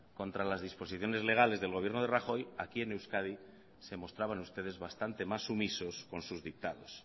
contra las disposiciones legales del gobierno de rajoy aquí en euskadi se mostraban ustedes bastante más sumisos con sus dictados